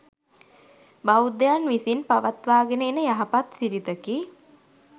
බෞද්ධයන් විසින් පවත්වාගෙන එන යහපත් සිරිතකි.